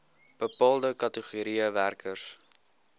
bepaalde kategorieë werkers